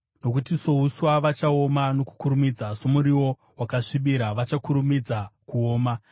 nokuti souswa vachaoma nokukurumidza, somuriwo wakasvibira vachakurumidza kuoma.